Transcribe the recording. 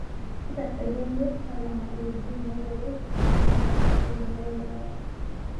Kitasayia iyie talama wuejitin neeboreki tenakata ele meitai le korona.